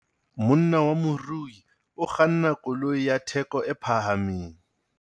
Monna wa morui o kganna koloi ya theko e phahameng.